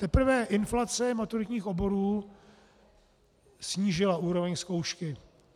Teprve inflace maturitních oborů snížila úroveň zkoušky.